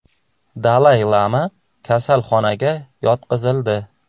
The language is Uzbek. Dalay Lama kasalxonaga yotqizildi.